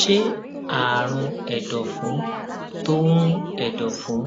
ṣé àrùn èdòfun tó ń èdòfun